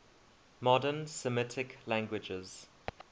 modern semitic languages